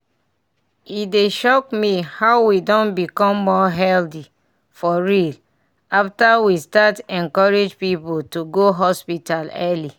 e dey shock me how we don become more healthy for real after we start encourage people to go hospital early.